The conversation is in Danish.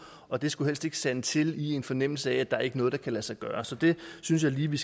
og det skulle helst ikke sande til i en fornemmelse af at der ikke er noget der kan lade sig gøre så det synes jeg lige vi